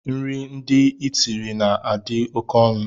Nri ndị itiri na adi oké ọnụ.